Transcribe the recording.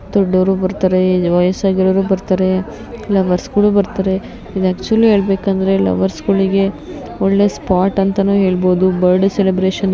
ದೊಡ್ಡೋರು ಬರ್ತಾರೆ ವೈಸ್ ಆಗಿರೋರು ಬರ್ತಾರೆ ಲವರ್ಸ್ ಗಳು ಬರ್ತಾರೆ ಇದು ಆಕ್ಚುಲಿ ಹೇಳಬೇಕು ಅಂದ್ರೆ ಲವರ್ಸ್ ಗಳಿಗೆ ಒಳ್ಳೆ ಸ್ಪಾಟ್ ಅಂತನು ಹೇಳಬಹುದು. Birthday celebration --